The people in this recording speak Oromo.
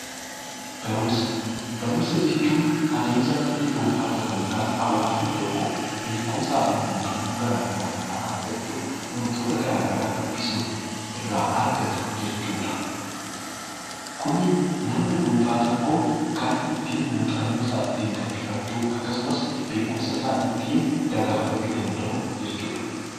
Barumsa jechuun adeemsa namni dhuunfaa tokko yookiin hawaasni tokko beekumsaa fi muuxannoo garaagaraa irraa argachuuf wantoota garaagaraa dubbisuun irraa argatu jechuudha. Kun kan namni dhuunfaa tokko ittiin muuxannoo isaa gabbifachuu yookiin beekumsa isaa ittiin dagaagfachuu danda'u jechuudha .